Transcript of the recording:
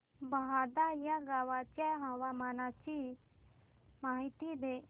बहादा या गावाच्या हवामानाची माहिती दे